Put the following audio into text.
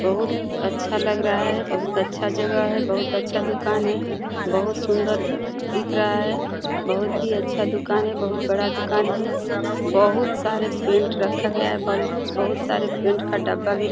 बहुत अच्छा लग रहा है। बहुत अच्छा जगह है। बहुत अच्छा दुकान है। बहुत सुंदर दिख रहा है। बहुत ही अच्छा दुकान है। बहुत बड़ा दुकान है। बहुत सारे पेंट रखा गया है। बल बहुत सारे पेंट का डब्बा भी र --